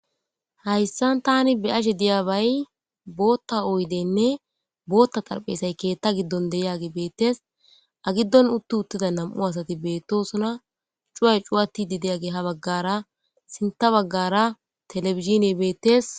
Haysan Tani beyashe diyabayi boota oydeni boota xaraphezayi keeta gidon de'iyagey beetesi. a giddon utida nam'u asati betosona , cuway cuwatidi diyagey ha bagara sinta bagara televisioney betes.